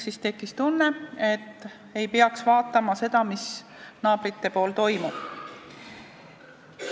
Siis tekkis tunne, nagu ei peakski vaatama, mis naabrite pool toimub.